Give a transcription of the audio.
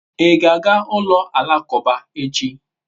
I ga-aga ulo alakuba echi?